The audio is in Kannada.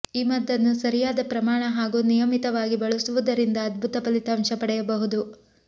ಈ ಮದ್ದನ್ನು ಸರಿಯಾದ ಪ್ರಮಾಣ ಹಾಗೂ ನಿಯಮಿತವಾಗಿ ಬಳಸುವುದರಿಂದ ಅದ್ಭುತ ಫಲಿತಾಂಶ ಪಡೆಯಬಹುದು